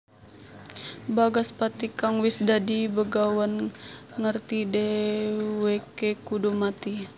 Bagaspati kang wis dadi begawan ngerti dhèwèké kudu mati